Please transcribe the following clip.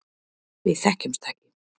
Við þekkjumst ekki.